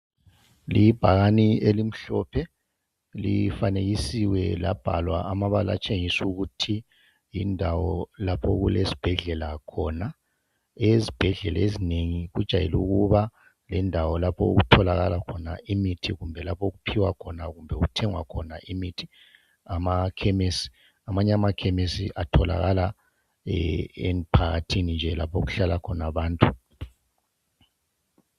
Libhakane, elimhlophe. Lifanekisiwe, labhalwa amabala atshengisa ukuthi yindawo lapho, okulesibhedlela khona. Ezibhedlela ezinengi, kujayele ukuba lendawo lapho okutholakala khona imithi, kumbe okuphiwa khona, kumbe okuthengwa khona imithi. emakhemisi. Amanye amakhemisi, atholakala emphakathini nje, lapho okuhlala khona abantu.